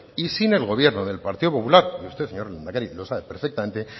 y sin el gobierno del partido popular y usted señor lehendakari lo sabe perfectamente